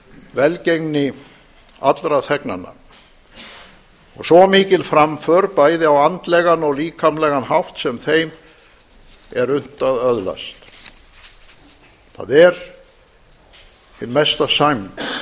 velgengni allra þegnanna og svo mikil framför bæði á andlegan og líkamlegan hátt sem þeim er unnt að öðlast það er hin mesta sæmd